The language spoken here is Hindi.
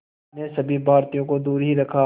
ने सभी भारतीयों को दूर ही रखा